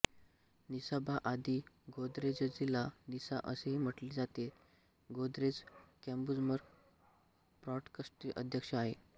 निसाबा आदी गोदरेजजिला निसा असेही म्हटले जातेती गोदरेज कंझ्युमर प्रॉडक्ट्सचे अध्यक्ष आहे